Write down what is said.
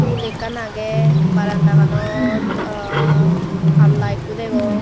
tul ekkan aage baranda ganot ahaa palla ekko degong.